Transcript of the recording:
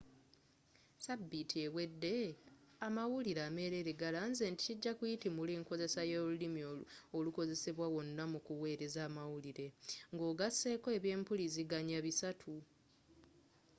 sabiiti ewedde amawulire ameerere galanze nti kijja kuyitimula enkozesa y'olulimi olukozesebwa wonna mu ku wereza amawulire nga ogaseeko ebyempuliziganya bisatu